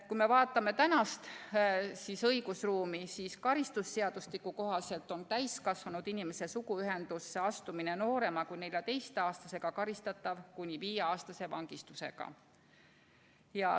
Kui me vaatame praegust õigusruumi, siis karistusseadustiku kohaselt on täiskasvanud inimese suguühtesse astumine noorema kui 14-aastasega karistatav kuni viieaastase vangistusega.